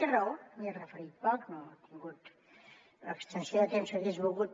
té raó m’hi he referit poc no he tingut l’extensió de temps que hagués volgut